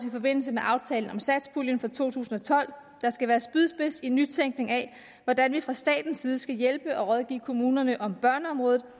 i forbindelse med aftalen om satspuljen for to tusind og tolv der skal være spydspids i nytænkning af hvordan vi fra statens side skal hjælpe og rådgive kommunerne om børneområdet